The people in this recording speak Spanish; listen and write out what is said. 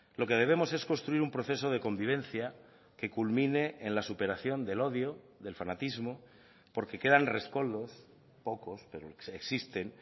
lo que debemos es construir un proceso de convivencia que culmine en la superación del odio del fanatismo porque quedan rescoldos pocos pero existen